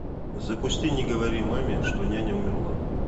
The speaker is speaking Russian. запусти не говори маме что няня умерла